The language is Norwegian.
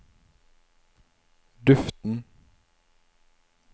duften